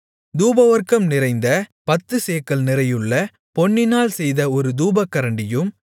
தூபவர்க்கம் நிறைந்த பத்துச்சேக்கல் நிறையுள்ள பொன்னினால் செய்த ஒரு தூபகரண்டியும்